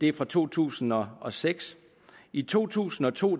er fra to tusind og seks i to tusind og to